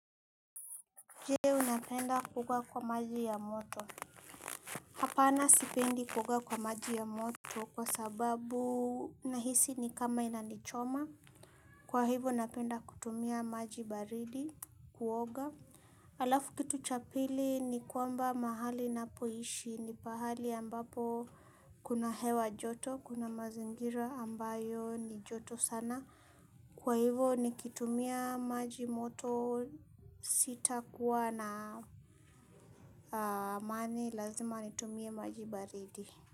Je unapenda kukua kwa maji ya moto. Hapana sipendi kukua kwa maji ya moto kwa sababu nahisi ni kama inanichoma. Kwa hivyo napenda kutumia maji baridi kuoga. Alafu kitu cha pili ni kwamba mahali napoishi ni pahali ambapo kuna hewa joto. Kuna mazingira ambayo ni joto sana. Kwa hivo nikitumia maji moto sita kuwa na amani lazima nitumie maji baridi.